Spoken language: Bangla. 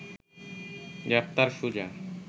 গ্রেপ্তার সুজা